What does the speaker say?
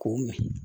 K'o min